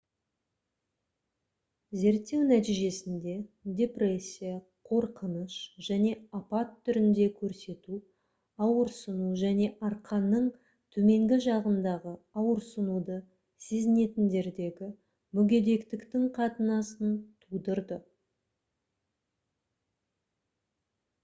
зерттеу нәтижесінде депрессия қорқыныш және апат түрінде көрсету ауырсыну және арқаның төменгі жағындағы ауырсынуды сезінетіндердегі мүгедектіктің қатынасын тудырды